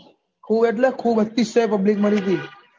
ખુબ એટલે ખુબ આખી સહર public મરી ગયી